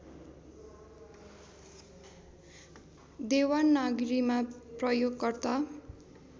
देवनागरीमा प्रयोगकर्ता